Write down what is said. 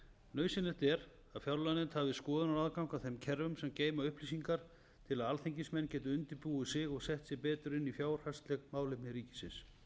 nauðsynlegt er að fjárlaganefnd hafi skoðunaraðgang að þeim kerfum sem geyma upplýsingarnar til að alþingismenn geti undirbúið sig og sett sig betur inn í fjárhagsleg málefni ríkisins